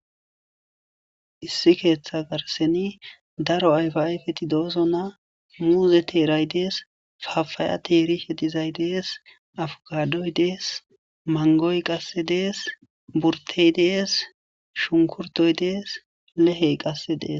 Issi keththa garsseni daro ayfa ayfeti de'osona. muuzeti de'ees, pappaya de'ees abokadoy de'ees qase mangoy de'ees burttey de'ees shunkurttoy de'ees lehey qase de'ees.